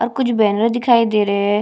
और कुछ बैनर दिखाई दे रहे है।